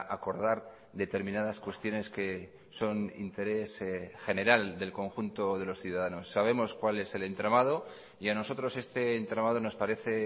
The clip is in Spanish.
acordar determinadas cuestiones que son interés general del conjunto de los ciudadanos sabemos cuál es el entramado y a nosotros este entramado nos parece